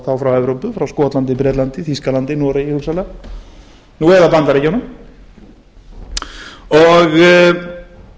tam frá evrópu skotlandi bretlandi þýskalandi noregi hugsanlega nú eða bandaríkjunum þess